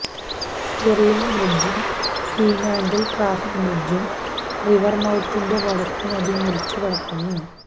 Stirling ബ്രിഡ്ജും Fremantle traffic ബ്രിഡ്ജും റിവർമൌത്തിന്റെ വടക്ക് നദി മുറിച്ചുകടക്കുന്നു